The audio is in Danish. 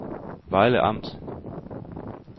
Vejle Amt